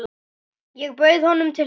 Ég bauð honum til stofu.